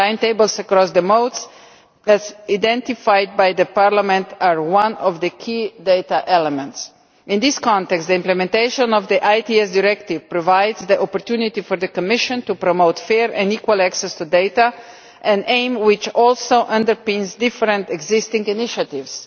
Timetables across the modes, as identified by Parliament, are one of the key data elements. In this context, the implementation of the ITS Directive provides the opportunity for the Commission to promote fair and equal access to data, an aim which also underpins different existing initiatives.